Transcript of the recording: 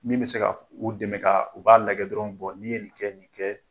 Min bɛ se ka u dɛmɛ ka u k'a lajɛ dɔrɔn ni ye nin kɛ ni kɛ.